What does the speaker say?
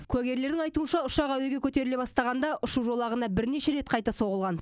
куәгерлердің айтуынша ұшақ әуеге көтеріле бастағанда ұшу жолағына бірнеше рет қайта соғылған